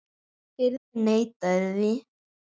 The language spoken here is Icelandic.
Hirðin neitaði því.